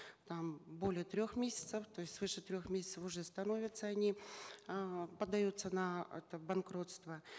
там более трех месяцев то есть свыше трех месяцев уже становятся они э подается на это банкротство